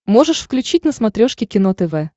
можешь включить на смотрешке кино тв